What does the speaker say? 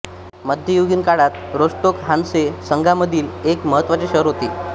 मध्य युगीन काळात रोस्टोक हान्से संघामधील एक महत्त्वाचे शहर होते